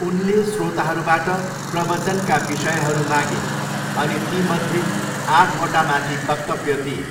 उनले श्रोताहरूबाट प्रवचनका विषयहरू मागे अनि तीमध्ये आठवटा माथि वक्तव्य दिए।